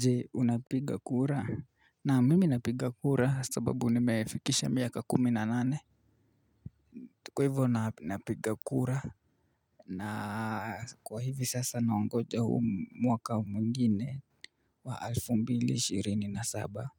Jee unapiga kura? Naam, mimi napiga kura sababu nimefikisha miaka kumi na nane. Kwa hivo napiga kura. Na kwa hivi sasa naongoja huu mwaka mwingine, wa alfu mbili shirini na saba,